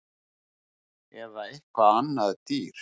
Eða eitthvað annað dýr